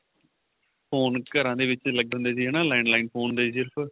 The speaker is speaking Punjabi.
phone ਘਰਾਂ ਦੇ ਵਿੱਚ ਲੱਗੇ ਹੁੰਦੇ ਸੀ ਹਨਾ landline phone ਹੁੰਦੇ ਸੀ ਸਿਰਫ